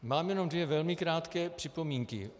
Mám jenom dvě velmi krátké připomínky.